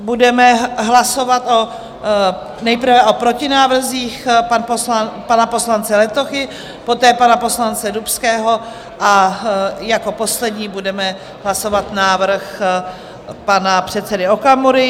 Budeme hlasovat nejprve o protinávrzích pana poslance Letochy, poté pana poslance Dubského a jako poslední budeme hlasovat návrh pana předsedy Okamury.